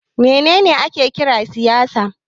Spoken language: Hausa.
Me ne ne ake kira da siyasa?